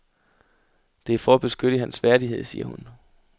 Det er for at beskytte hans værdighed, siger hun.